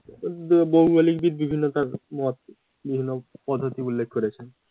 আহ ভৌগোলিকবিদ বিভিন্ন তার মত বিভিন্ন পদ্ধতি উল্লেখ করেছে